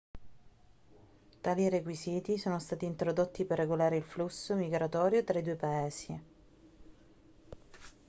tali requisiti sono stati introdotti per regolare il flusso migratorio tra i due paesi